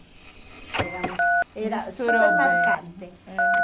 Éramos, era super marcante. É